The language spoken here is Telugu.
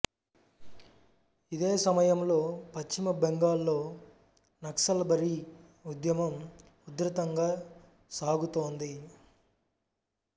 ఇదే సమయంలో పశ్చిమ బెంగాల్లో నక్సల్బరీ ఉద్యమం ఉధృతంగా సాగుతోంది